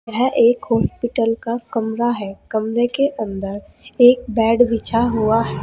यह एक हॉस्पिटल का कमरा है कमरे के अंदर एक बेड विछा हुआ है।